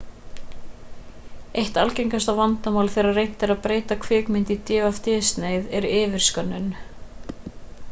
eitt algengasta vandamálið þegar reynt er að breyta kvikmynd í dvd-snið 0er yfirskönnun